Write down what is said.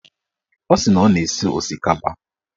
Ọ sị na ọ na-esi osikapa